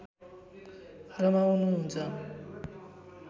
रमाउनु हुन्छ